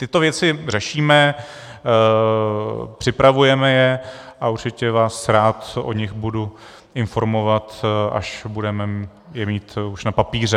Tyto věci řešíme, připravujeme je a určitě vás rád o nich budu informovat, až je budeme mít už na papíře.